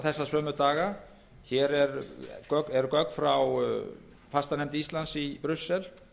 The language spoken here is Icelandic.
þessa sömu daga hér eru gögn frá fastanefnd íslands í brussel